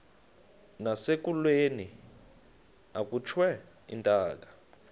nasekulweni akhutshwe intaka